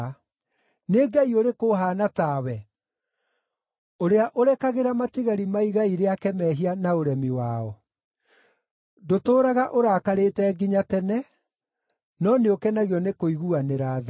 Nĩ Ngai ũrĩkũ ũhaana tawe, ũrĩa ũrekagĩra matigari ma igai rĩake mehia na ũremi wao? Ndũtũũraga ũrakarĩte nginya tene, no nĩũkenagio nĩ kũiguanĩra tha.